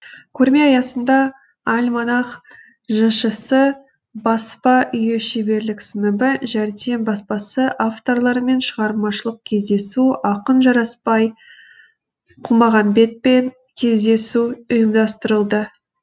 көрме аясында альманах жшс баспа үйі шеберлік сыныбы жәрдем баспасы авторларымен шығармашылық кездесу ақын жарасбай құлмағамбетпен кездесу ұйымдастырылды